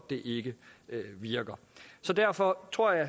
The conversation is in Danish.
det ikke virker så derfor tror jeg